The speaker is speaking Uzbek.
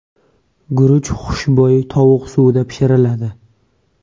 Guruch xushbo‘y tovuq suvida pishiriladi.